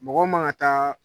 Mɔgɔ man ka taa